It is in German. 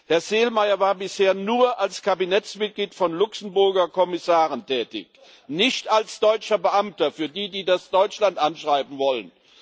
Herr Selmayr war bisher nur als Kabinettsmitglied von Luxemburger Kommissaren tätig, nicht als deutscher Beamter das für diejenigen, die das Deutschland zuschreiben wollen.